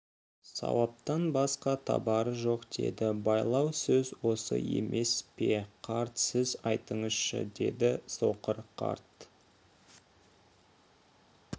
сауаптан басқа табары жоқ деді байлау сөз осы емес пе қарт сіз айтыңызшы деді соқыр қарт